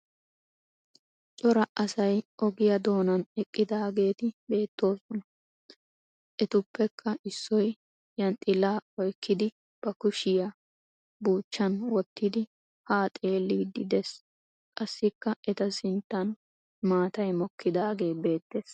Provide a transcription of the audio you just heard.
Cora asay ogiya doonan eqqidaageeti beettoosona. Etuppekka issoy yanxxilaa oykkidi ba kushiya buuchchan wottidi haa xeelliiddi des. Qassikka eta sinttan maatay mokkidaagee beettes.